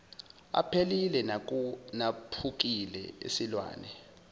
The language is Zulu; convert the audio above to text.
aphelile naphukile esilwane